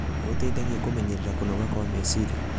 nĩ gũteithagia kũmenyerera kũnoga kwa meciria.